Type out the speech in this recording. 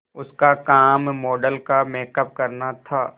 उसका काम मॉडल का मेकअप करना था